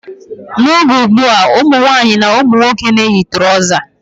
N' oge ugbua, ụmụnwaanyị na ụmụnwoke na-eyi trọza.